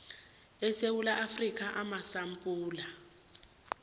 esewula afrika amasampula